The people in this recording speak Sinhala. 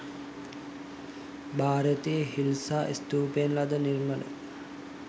භාරතයේ හිල්සා ස්තූපයෙන් ලද නිර්මල